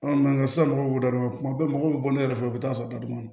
sisan mɔgɔw b'u da don kuma bɛɛ mɔgɔw bɛ bɔ ne yɛrɛ fɛ u bɛ taa sɔrɔ dadun na